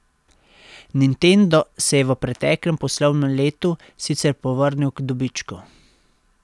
Nintendo se je v preteklem poslovnem letu sicer povrnil k dobičku.